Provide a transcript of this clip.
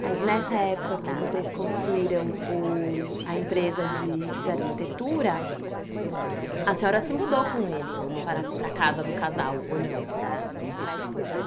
Mas nessa época que vocês construíram o... a empresa de... de arquitetura, a senhora se mudou com ele para para a casa do casal, ou não?